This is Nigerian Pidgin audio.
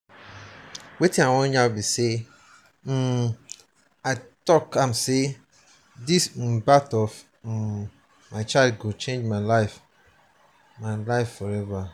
um i tok am sey di um birth of um my child go change my life my life forever.